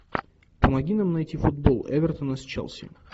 помоги нам найти футбол эвертона с челси